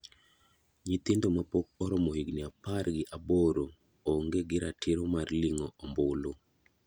Nyithindo mapok oromo higni apar gi aboro ong'e gi ratiro mar ling'o ombulu.